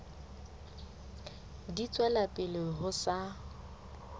di tswela pele ho sa